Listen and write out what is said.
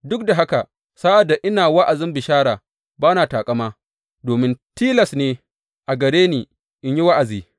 Duk da haka, sa’ad da ina wa’azin bishara, ba na taƙama, domin tilas ne a gare ni in yi wa’azi.